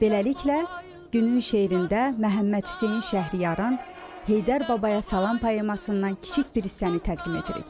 Beləliklə, günün şeirində Məhəmməd Hüseyn Şəhriyarın Heydər Babaya Salam poemasından kiçik bir hissəni təqdim edirik.